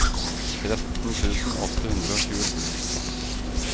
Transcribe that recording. tretten tusen åtte hundre og tjuesju